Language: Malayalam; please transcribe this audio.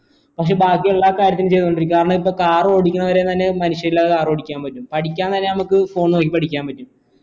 പക്ഷെ ബാക്കി എല്ലാ കാര്യത്തിനും ചെയ്തോണ്ടിരിക്ക കാരണം ഇപ്പൊ car ഓടിക്കണത് വരെ തന്നെ മനുഷ്യനില്ലാതെ car ഓടിക്കാൻ പറ്റും പഠിക്കാൻ നേരം phone നോക്കി പഠിക്കാൻ പറ്റും